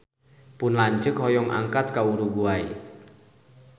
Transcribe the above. Pun lanceuk hoyong angkat ka Uruguay